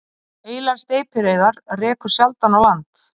Heilar steypireyðar rekur sjaldan á land